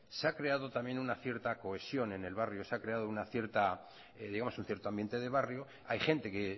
se ha creado también una cierta cohesión en el barrio se ha creado un cierto ambiente de barrio hay gente que